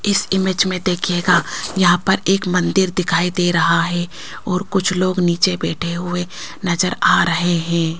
इस इमेज में देखिएगा यहां पर एक मंदिर दिखाई दे रहा है और कुछ लोग नीचे बैठे हुए नजर आ रहे हैं।